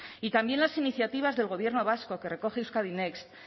y también las iniciativas del gobierno vasco que recoge euskadi next